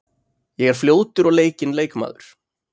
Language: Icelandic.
Ég er fljótur og leikinn leikmaður.